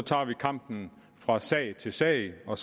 kampen fra sag til sag og